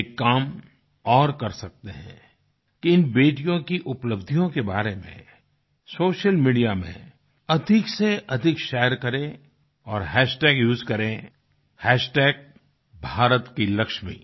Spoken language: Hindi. एक काम और कर सकते हैं कि इन बेटियों की उपलब्धियों के बारे में सोशल मीडिया में अधिक से अधिक शेयर करें और हैशटैग उसे करें भारतकीलक्ष्मी भारत की लक्ष्मी